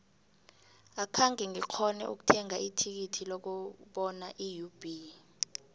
akhenge ngikghone ukuthenga ithikithi lokubona iub